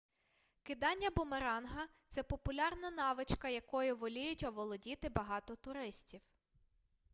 кидання бумеранга це популярна навичка якою воліють оволодіти багато туристів